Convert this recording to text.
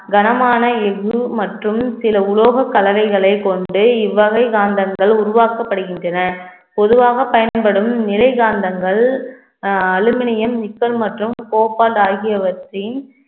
கனமான எஃகு மற்றும் சில உலோகக் கலவைகளைக் கொண்டே இவ்வகை காந்தங்கள் உருவாக்கப்படுகின்றன பொதுவாகப் பயன்படும் நிலைகாந்தங்கள் அஹ் அலுமினியம், நிக்கல் மற்றும் கோபால்ட் ஆகியவற்றின்